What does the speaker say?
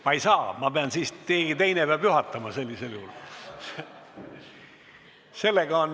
Ma ei saa, keegi teine peab sellisel juhul juhatama.